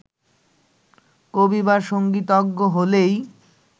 কবি বা সংগীতজ্ঞ হলেই